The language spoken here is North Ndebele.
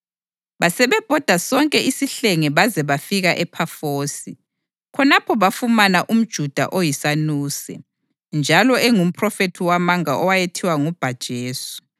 Basibhoda sonke isihlenge baze bafika ePhafosi. Khonapho bafumana umJuda oyisanuse, njalo engumphrofethi wamanga owayethiwa nguBha-Jesu,